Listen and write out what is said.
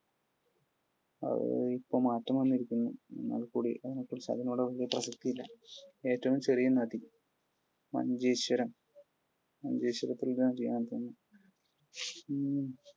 അത് ഇപ്പോൾ മാറ്റം വന്നിരിക്കുന്നു. എന്നാൽക്കൂടി അതിനെക്കുറിച്ചു അതിനോട് ഏറ്റവും ചെറിയ നദി? മഞ്ചേശ്വരം. മഞ്ചേശ്വരത്തിൽ